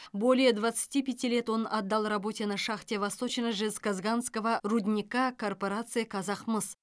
более двадцати пяти лет он отдал работе на шахте восточно жезказганского рудника корпорации казахмыс